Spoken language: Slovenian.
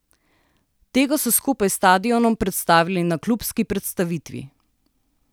Tega so skupaj s stadionom predstavili na klubski predstavitvi.